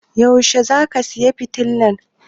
Yaushe zaka saya fitilan?